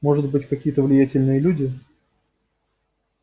может быть какие-то влиятельные люди